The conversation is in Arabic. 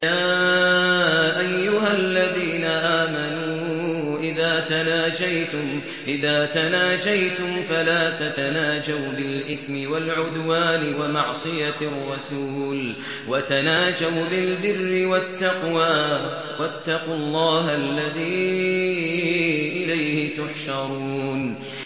يَا أَيُّهَا الَّذِينَ آمَنُوا إِذَا تَنَاجَيْتُمْ فَلَا تَتَنَاجَوْا بِالْإِثْمِ وَالْعُدْوَانِ وَمَعْصِيَتِ الرَّسُولِ وَتَنَاجَوْا بِالْبِرِّ وَالتَّقْوَىٰ ۖ وَاتَّقُوا اللَّهَ الَّذِي إِلَيْهِ تُحْشَرُونَ